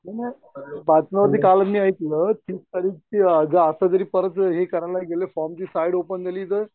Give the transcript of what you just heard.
नाही बातम्यावरती मी कालच ऐकलं ते असं आता जरी परत हे करायला गेलं फॉर्मची साईड ओपन केली तर